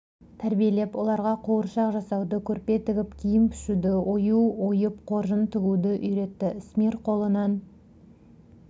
тәрбиелеп оларға қуыршақ жасауды көрпе тігіп киім пішуді ою ойып қоржын тігуді үйретті ісмер қолынан